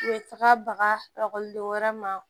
U bɛ taga bagaden wɛrɛ ma